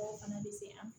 O fana bɛ se an ma